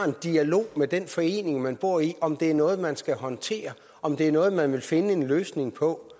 en dialog med den forening man bor i om det er noget man skal håndtere om det er noget man vil finde en løsning på